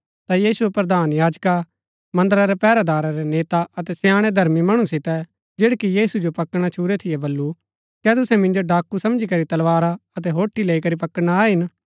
ता यीशुऐ प्रधान याजका मन्दरा रै पैहरैदारा रै नेता अतै स्याणै धर्मी मणु सितै जैड़ै कि यीशु जो पकड़ना छूरै थियै बल्लू कै तुसै मिन्जो डाकू समझी करी तलवारा अतै होठे लेई करी पकड़ना आये हिन